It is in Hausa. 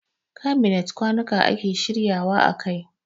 Kabinet kwanuka ake shirya wa a kai.